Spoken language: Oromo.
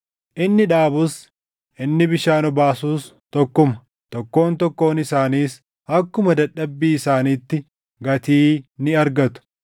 Inni dhaabus, inni bishaan obaasus tokkuma; tokkoon tokkoon isaaniis akkuma dadhabbii isaaniitti gatii ni argatu.